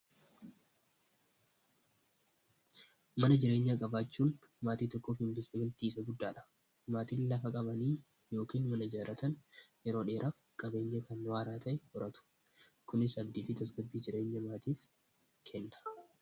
mana jireenya qabaachuun maatii tokkoof investimentti isa guddaadha maatiin lafa qabanii yookiin mana jiraatan eroodheera qabeenya kanwaaraa ta'e horatu kunis abdii fitasgabbii jireenya maatiif kenna